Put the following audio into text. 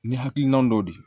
Ni hakilina dɔ de ye